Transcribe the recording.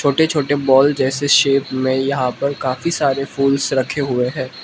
छोटे छोटे बॉल जैसे शेप में यहां पर काफी सारे फूल्स रखे हुए है।